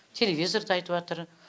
телевизорда айтыватыр